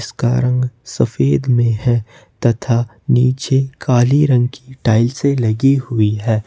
इसका रंग सफेद में है तथा नीचे काली रंग की टाइल्से लगी हुई है।